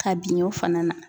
Ka bin o fana na.